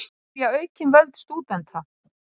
Vilja aukin völd stúdenta